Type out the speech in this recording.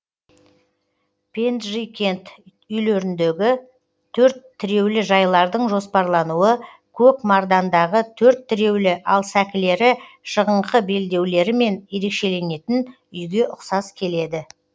пенджикент үйлеріндегі төрт тіреулі жайлардың жоспарлануы көк мардандағы төрт тіреулі ал сәкілері шығыңқы белдеулерімен ерекшеленетін үйге ұқсас келеді